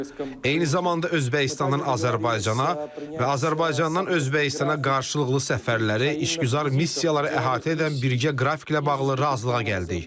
Eyni zamanda Özbəkistanın Azərbaycana və Azərbaycandan Özbəkistana qarşılıqlı səfərləri, işgüzar missiyaları əhatə edən birgə qrafiklə bağlı razılığa gəldik.